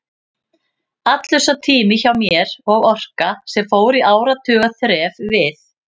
Allur sá tími hjá mér og orka, sem fór í áratuga þref við